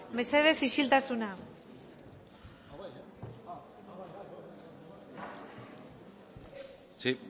mesedez isiltasuna sí